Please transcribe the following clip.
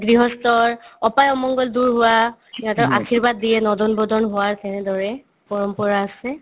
গৃহস্থৰ অপাই-অমংগল দূৰ হোৱা সিহঁতক আৰ্শীবাদ দিয়ে নদন-বদন হোৱাৰ সেনেদৰে পৰম্পৰা আছে